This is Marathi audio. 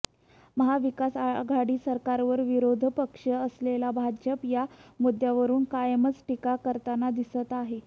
महाविकासआघाडी सरकारवर विरोधी पक्ष असलेला भाजप या मुद्द्यावरुन कायमच टीका करताना दिसत आहे